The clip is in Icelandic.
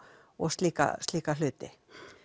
og slíka slíka hluti